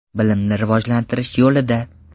Bilimni rivojlantirish yo‘lida.